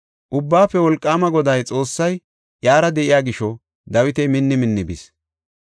Ubbaafe Wolqaama Goday Xoossay iyara de7iya gisho Dawiti minni minni bis.